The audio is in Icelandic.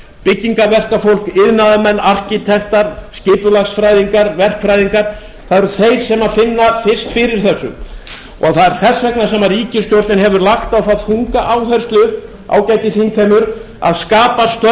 byggingarverkafólk iðnaðarmenn arkitektar skipulagsfræðingar verkfræðingar það eru þeir sem finna fyrst fyrir þessu og það er þess vegna sem ríkisstjórnin hefur lagt á það þunga áherslu ágæti þingheimur að skapa störf fyrir